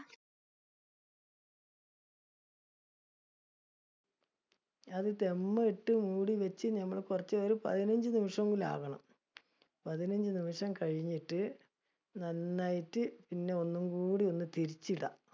അത് dum ഇട്ടു മൂടി വെച്ച് ഞമ്മള് കുറച്ചുനേരം പതിനഞ്ചു നിമിഷം എങ്കിലും ആകണം ആവണം. പതിനഞ്ചു നിമിഷം കഴിഞ്ഞിട്ട്, നന്നായിട്ട് പിന്നെ ഒന്നും കൂടി ഒന്ന് തിരിച്ച് ഇടാം.